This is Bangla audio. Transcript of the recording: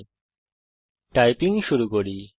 এখন টাইপিং শুরু করি